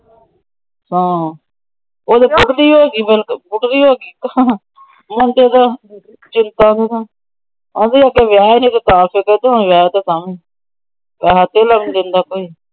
ਉਹ ਤਾਂ ਉਡਦੀ ਹੋਗੀ ਬਿਲਕੁਲ। ਉਡਦੀ ਹੋਗੀ। ਮੁੰਡਾ ਦਾ ਚਿੰਤਾ। ਆਹਂਦੀ ਅੱਗੇ ਵਿਹੇਆ ਨਹੀਂ ਸੀ ਤਾਂ ਫਿਕਰ। ਹੁਣ ਵਿਹੇਆ ਤਾਂ ਵੀ। ਪੈਸੇ ਧੇਲਾ ਵੀ ਨਹੀਂ ਦੇਂਦਾ ਕੋਈ ।